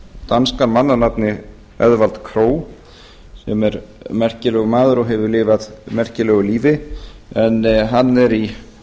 danskan mann að nafni eðvarð krog sem er merkilegur maður og hefur lifað merkilegu lífi en hann er í